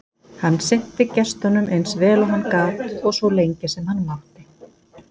Hann sinnti gestunum eins vel og hann gat og svo lengi sem hann mátti.